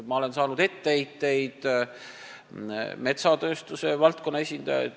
Ma olen saanud etteheiteid ka metsatööstuse valdkonna esindajailt.